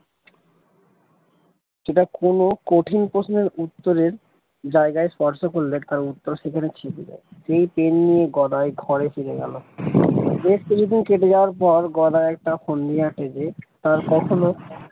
যেটা কোন কঠিন প্রশ্নের উত্তরের জায়গায় স্পর্শ করলে তার উত্তর সেখানে ছেপে দেয় এই pen নিয়ে গদাই ঘরে ফিরে গেল বেশ কিছুদিন কেটে যাওয়ার পর গদাই একটা ফন্দি আটে যে তার কখনো।